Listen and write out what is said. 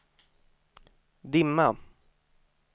dimma